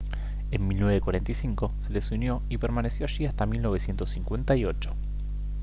en 1945 se les unió y permaneció allí hasta 1958